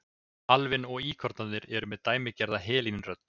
Alvin og íkornarnir eru með dæmigerða helín-rödd.